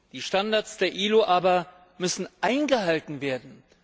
Die Standards der ILO aber müssen eingehalten werden!